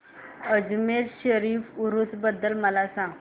अजमेर शरीफ उरूस बद्दल मला सांग